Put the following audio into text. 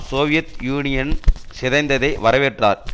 Soviet Union சிதைந்ததை வரவேற்றார்